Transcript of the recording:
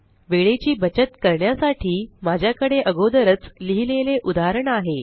वेळेची बचत करण्यासाठी माझ्याकडे अगोदरच लिहिलेले उदाहरण आहे